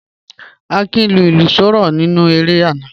Akin lu ilu soro ninu ere ana